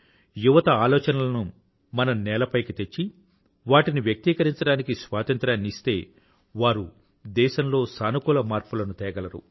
యువత ఆలోచనలను మనం నేలపైకి తెచ్చి వాటిని వ్యక్తీకరించడానికి స్వాతంత్రాన్ని ఇస్తే వారు దేశంలో సానుకూల మార్పులను తేగలరు